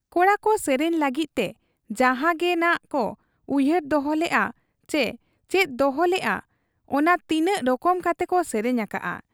ᱠᱚᱲᱟᱠᱚ ᱥᱮᱨᱮᱧ ᱞᱟᱹᱜᱤᱫ ᱛᱮ ᱡᱟᱦᱟᱸ ᱜᱮᱱᱷᱟᱜ ᱠᱚ ᱩᱭᱦᱟᱹᱨ ᱫᱚᱦᱚ ᱞᱮᱜ ᱟ ᱪᱤ ᱪᱮᱫ ᱫᱚᱦᱚᱞᱮᱜ ᱟ, ᱚᱱᱟ ᱛᱤᱱᱟᱹᱜ ᱨᱚᱠᱚᱢ ᱠᱟᱛᱮᱠᱚ ᱥᱮᱨᱮᱧ ᱟᱠᱟᱜ ᱟ ᱾